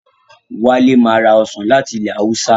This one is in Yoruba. Wálé ma ra Ọsàn láti ilẹ̀ Haúsá